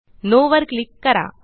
no वर click करा